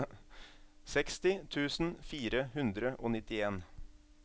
seksti tusen fire hundre og nittien